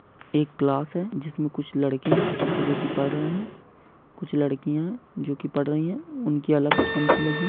एक क्लास है जिस में कुछ लड़के है जो की पढ़ रहे है कुछ लड़कियां जो की पढ़ रही है उनकी अलग पंथी लगी--